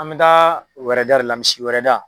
An mɛ taa wɛrɛda de la misi wɛrɛda.